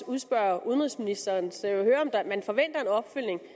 udspørge udenrigsministeren så jeg vil høre om man forventer en opfølgning